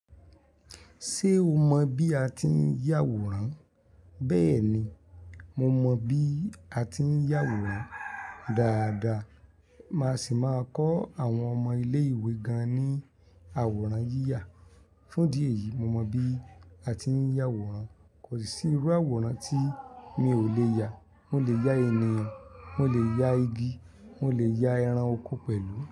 Ṣé o mọ bí a ti ń yà àwòrán? Bẹ́ẹ̀ni, mo mọ bí a ti ń yà à. Daádaa, màá sì máa kọ́ àwọn ọmọ ilé ìwé gan-an ní àwòrán yíyà. Fún ìdí èyí, mo mọ bí a ti ń yà àwòrán. Kò sí irú àwòrán tí mi ò lè yà. Mo lè ya ènìyàn, mo lè ya igi, mo lè ya ẹran oko pẹ̀lú.